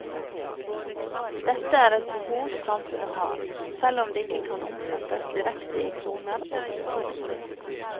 Dette er et behov samfunnet har, selv om det ikke kan omsettes direkte i kroner og øre.